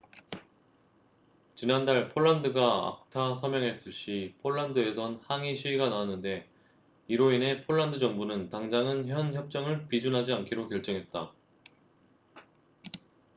지난달 폴란드가 acta 서명했을 시 폴란드에선 항의 시위가 나왔는데 이로 인해 폴란드 정부는 당장은 현 협정을 비준하지 않기로 결정했다